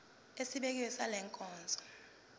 esibekiwe sale nkonzo